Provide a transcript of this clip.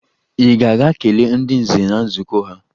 Ị ga-aga kelee ndị nze na nzukọ ha!